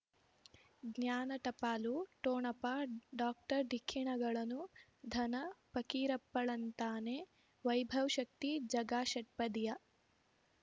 ಜ್ಞಾನ ಟಪಾಲು ಠೋಣಪ ಡಾಕ್ಟರ್ ಢಿಕ್ಕಿ ಣಗಳನು ಧನ ಫಕೀರಪ್ಪ ಳಂತಾನೆ ವೈಭವ್ ಶಕ್ತಿ ಝಗಾ ಷಟ್ಪದಿಯ